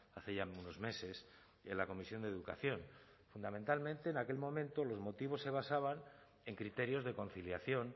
hace ya unos meses en la comisión de educación fundamentalmente en aquel momento los motivos se basaban en criterios de conciliación